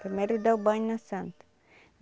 Primeiro dá o banho na Santa.